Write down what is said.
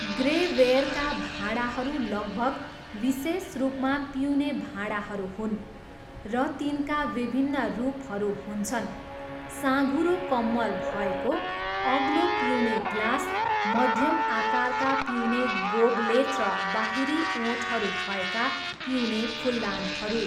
Grey वेयरका भाँडाहरू लगभग विशेष रूपमा पिउने भाँडाहरू हुन्, र तिनका विभिन्न रूपहरू हुन्छन्, साँघुरो कम्मर भएको, अग्लो पिउने ग्लास, मध्यम आकारका पिउने गोबलेट र बाहिरी ओठहरू भएका पिउने फुलदानहरू।